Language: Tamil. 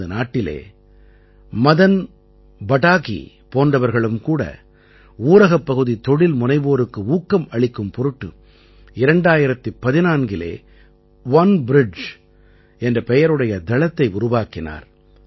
நமது நாட்டிலே மதன் படாகீ போன்றவர்களும் கூட ஊரகப்பகுதி தொழில் முனைவோருக்கு ஊக்கம் அளிக்கும் பொருட்டு 2014இலே ஒனே பிரிட்ஜ் என்ற பெயருடைய தளத்தை உருவாக்கினார்